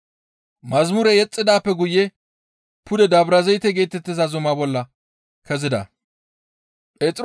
Yeththa yexxidaappe guye pude Dabrazayte geetettiza zuma bolla kezida.